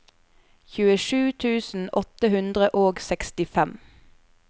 tjuesju tusen åtte hundre og sekstifem